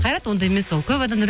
қайрат ондай емес ол көп адамдар